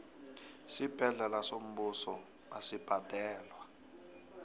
isibhedlela sombuso asibhadalwa